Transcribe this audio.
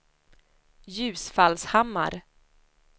Ljusfallshammar